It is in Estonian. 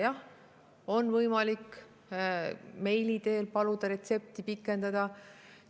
Jah, on võimalik meili teel paluda retsepti pikendada.